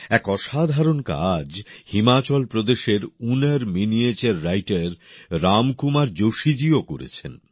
এক অসাধারণ কাজ হিমাচল প্রদেশের ঊনার মিনিয়েচার রাইটার রাম কুমার জোশীজিও করেছেন